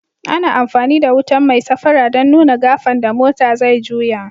Ana amfani da wutan mai safara dan nuna gafen da motan zai juyo.